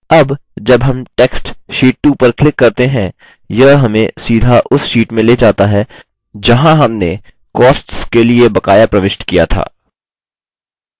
अब जब हम text sheet 2 पर click करते हैं यह हमें सीधा उस sheet में ले जाता है जहाँ हमें costs के लिए बकाया प्रविष्ट किया था